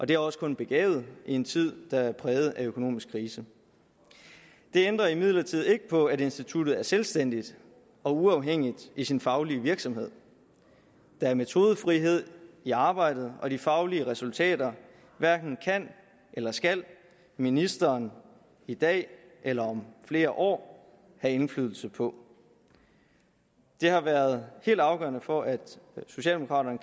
det er også kun begavet i en tid der er præget af økonomisk krise det ændrer imidlertid ikke på at instituttet er selvstændigt og uafhængigt i sin faglige virksomhed der er metodefrihed i arbejdet og de faglige resultater hverken kan eller skal ministeren i dag eller om flere år have indflydelse på det har været helt afgørende for at socialdemokraterne